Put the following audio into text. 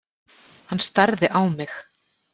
Hann starði á mig.